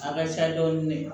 A ka ca dɔɔnin